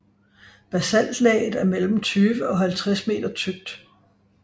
Basaltlaget er mellem 20 og 50 meter tykt